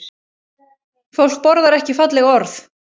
Fólk borðar ekki falleg orð